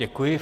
Děkuji.